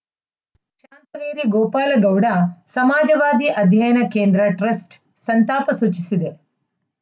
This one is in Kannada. ವೇರಿ ಗೋಪಾಲಗೌಡ ಸಮಾಜವಾದಿ ಅಧ್ಯಯನ ಕೇಂದ್ರ ಟ್ರಸ್ಟ್‌ ಸಂತಾಪ ಸೂಚಿಸಿದೆ